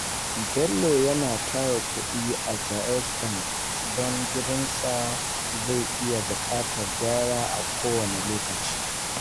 Bello yana tara kudi a Jaiz Bank don gidansa zai iya buƙatar gyara a kowane lokaci.